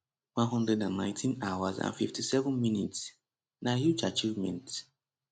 119 hours and 57 mins na huge achievement